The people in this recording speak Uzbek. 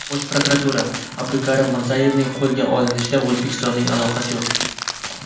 Bosh prokuratura: Abdukarim Mirzayevning qo‘lga olinishida O‘zbekistonning aloqasi yo‘q.